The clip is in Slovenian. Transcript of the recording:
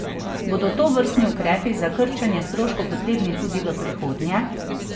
Bodo tovrstni ukrepi za krčenje stroškov potrebni tudi v prihodnje?